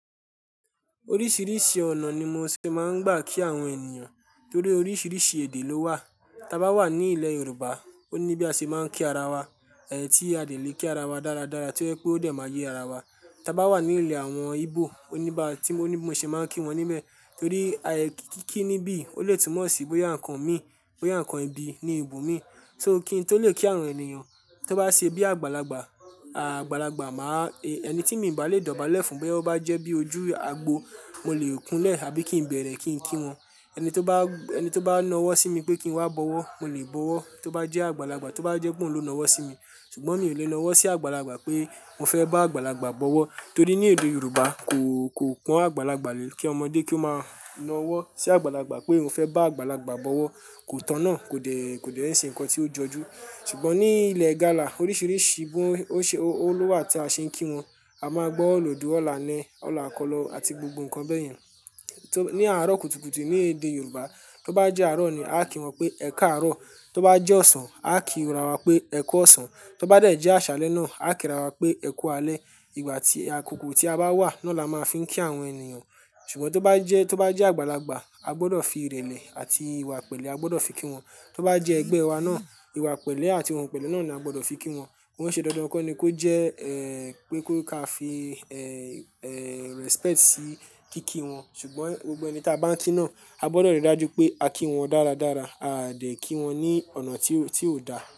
Oríṣiríṣi ọ̀nà ni mo ṣe máa ń gbà kí àwọn ènìyàn torí oríṣiríṣi èdè ló wà. Ta bá wà ní ilẹ̀ Yorùbá, ó ní bí a ṣe máa ń kí ara wa, ẹ̀ ti a dè le kí ara wa dáradára tí ó yẹ pé ó dẹ̀ máa yé ara wa. Ta bá wà ní ilẹ̀ àwọn Ibo, ó ní ba, tí mo ní bó ṣe máa ń kí wọn níbẹ̀ torí ayẹ, ki ki kíni bí, ó lè túmọ̀ sí bóyá nǹkan mi, bóyá ǹnkan ibi ni ibomi, so kín tó lè kí àwọn ènìyàn. Tó bá ṣe bí àgbàlagbà, àgbàlagbà máa e ẹni tí mi bà lè dọ̀bálẹ̀ fún boya o bá jẹ́ bí ojú agbo, mo lè kunlẹ̀ àbí kí n bẹ̀rẹ̀ kí n kí wọn. Ẹni tó bá, ẹni tó bá nawọ́ sí mi pé kí n wá bọwọ́, mo lè bọwọ́. Tó bá jẹ́ àgbàlagbà, tí ó bá jẹ́ pé òun ló nawọ́ sí mi, ṣùgbọ́n mi lè nawọ́ sí àgbàlagbà pé mo fẹ́ ba àgbàlagbà bọwọ́ torí ní èdè Yorùbá kò, kò pọn àgbàlagbà lé kí ọmọdé kí ó máa nawọ́ sí àgbàlagbà pé oun fẹ́ bá àgbàlagbà bọwọ́. Kò tọ̀nà, kò dẹ̀, kò dẹ́ n ṣe nǹkan tí ó jọjú. Ṣùgbọ́n ní ilẹ̀ Igala oríṣiríṣi gbóń, o ṣe o, o ló wà tí a ṣe ń kí wọn. A máa gbọ́ òlòdú, ọ̀la ne, ọ̀la kọ́ lọ àti gbogbo nǹkan bẹ́ẹ̀ yẹn. Tó, ní àárọ̀ kùtùkùtù ní èdè Yorùbá, tó bá jẹ́ àárọ̀ ni a kí wọn pé "ẹ káàárọ̀", tí ó bá jẹ́ ọ̀sán, a kí ra wa pé "ẹ kú ọ̀sán", tó bá dẹ̀ jẹ́ àṣálẹ́ náà, a kíra wa pé ẹ kú alẹ́. Ìgbà tí àkókò tí a bá wà náa là máa n fi ń kí àwọn ènìyàn. Ṣùgbọ́n tó bá jẹ́, tó bá jẹ́ àgbàlagbà, a gbọdọ̀ fi ìrẹ̀lẹ̀ àti ìwà pẹ̀lẹ́ a gbọdọ̀ fi kí wọn. Tó bá jẹ́ ẹgbẹ́ wa náà, ìwà pẹ̀lẹ́ àti ohun pẹ̀lẹ́ náà ni a gbọdọ̀ fi kí wọn. Kọ́ n ṣe dandan kan ni kó jẹ́ eh pé kó ká fi eh, eh respect sí kí kí wọn. Ṣùgbọ́n gbogbo ẹni ta bá ń kí náà, a gbọdọ̀ rí dájú pé a kí wọn dáradára. A dẹ̀ kí wọn ní ọ̀nà tí ó, tí ò da.